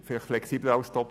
Ich weiss es nicht.